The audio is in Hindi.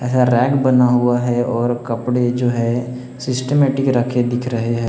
यह रैक बना हुआ है और कपड़े जो है सिस्टमैटिक रखे दिख रहे है।